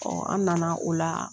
Ɔ an nana ola